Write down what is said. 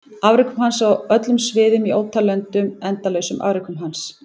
Afrekum hans á öllum sviðum í ótal löndum endalausum afrekum hans?